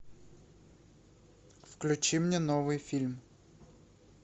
включи мне новый фильм